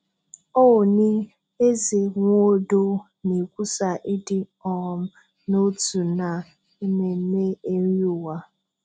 Ooni, Eze, Nwodo na-ekwusa ịdị um n'otu na Ememme eri ụwa